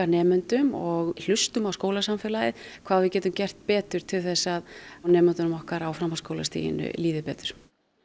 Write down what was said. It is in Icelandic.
nemendum og hlustum á skólasamfélagið hvað við getum gert betur til að nemendunum okkar á framhaldsskólastiginu líði betur